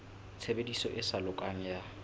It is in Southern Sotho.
tshebediso e sa lokang ya